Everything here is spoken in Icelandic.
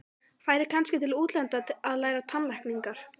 Færi kannski til útlanda að læra tannlækningar.